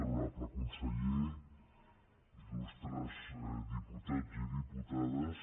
honorable conseller il·lustres diputats i diputades